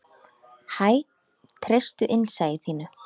Hæ, treystu innsæi þínu.